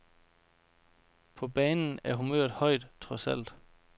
På banen er humøret højt, trods alt.